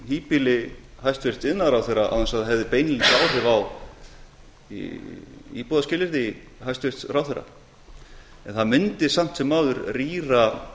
híbýli hæstvirts iðnaðarráðherra án þess að það hefði beinlínis áhrif á íbúaskilyrði hæstvirts ráðherra það mundi samt sem áður rýra